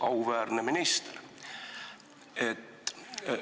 Auväärne minister!